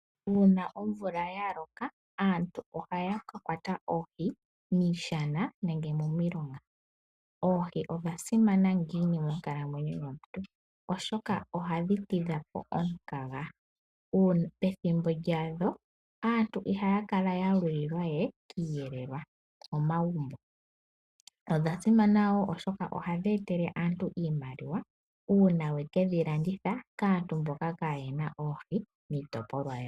Uuna omvula yaloka aantu ohaya ka kwata oohi miishana nenge momilonga. Oohi odha simana ngini monkalamwenyo yomuntu oshoka ohadhi tidha omukaga, pethimbo lyadho aantu ihaya kala we ya lulilwa kiiyelelwa momagumbo, odha simana wo oshoka ohadhi etele aantu iimaliwa uuna we kedhi landitha kaantu mboka kaa yena oohi kiitopolwa yawo.